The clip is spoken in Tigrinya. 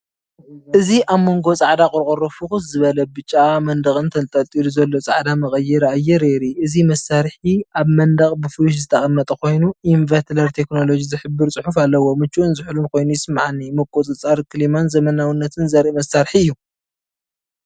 እዚ ኣብ መንጎ ጻዕዳ ቆርቆሮ ፍኹስ ዝበለ ብጫ መንደቕን ተንጠልጢሉ ዘሎ ጻዕዳ መቀየሪ ኣየር የርኢ። እቲ መሳርሒ ኣብ መንደቕ ብፍሉሽ ዝተቐመጠ ኮይኑ ኢንቨትለተር ቴክኖሎጂ ዝሕብር ጽሑፍ ኣለዎ። ምቹእን ዝሑልን ኮይኑ ይስምዓኒ! ምቁጽጻር ክሊማን ዘመናዊነትን ዘርኢ መሳርሒ እዩ።